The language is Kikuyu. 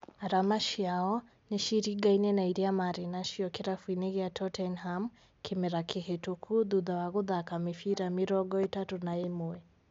Arama ciao nĩciringaine na iria marĩ nacio kĩrabu-inĩ gĩa Tottenham kĩmera kĩhetũku thutha wa gũthaka mĩbira mĩrongo ĩtatũ na ĩmwe